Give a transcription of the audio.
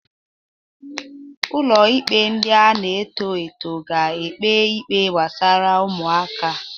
Ụlọ ikpe ndị na-eto eto ga-ekpe ikpe gbasara ụmụaka.